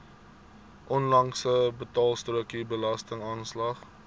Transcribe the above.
onlangse betaalstrokie belastingaanslag